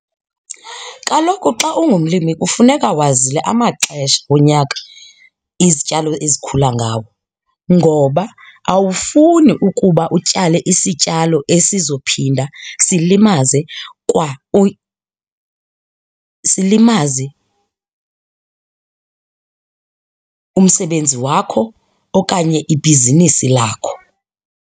Kaloku xa ungumlimi kufuneka wazile amaxesha onyaka izityalo ezikhula ngawo ngoba awufuni ukuba utyale isityalo esizophinda silimaze kwa silimaze umsebenzi wakho okanye ibhizinisi lakho.